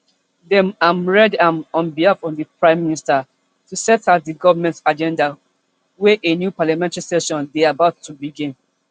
dem am read am on behalf of di prime minister to set out di govment agenda wen a new parliamentary session dey about to begin